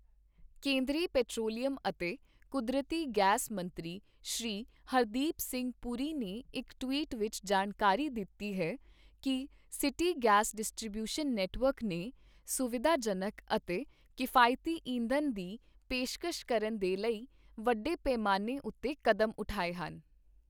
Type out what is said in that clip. ਕੇਂਦਰੀ ਪੇਟਰੋਲੀਅਮ ਅਤੇ ਕੁਦਰਤੀ ਗੈਸ ਮੰਤਰੀ ਸ਼੍ਰੀ ਹਰਦੀਪ ਸਿੰਘ ਪੁਰੀ ਨੇ ਇੱਕ ਟਵੀਟ ਵਿੱਚ ਜਾਣਕਾਰੀ ਦਿੱਤੀ ਹੈ ਕਿ ਸਿਟੀ ਗੈਸ ਡਿਸਟ੍ਰੀਬਿਊਸ਼ਨ ਨੈੱਟਵਰਕ ਨੇ ਸੁਵਿਧਾਜਨਕ ਅਤੇ ਕਿਫ਼ਾਇਤੀ ਇੰਧਣ ਦੀ ਪੇਸ਼ਕਸ਼ ਕਰਨ ਦੇ ਲਈ ਵੱਡੇ ਪੈਮਾਨੇ ਉੱਤੇ ਕਦਮ ਉਠਾਏ ਹਨ।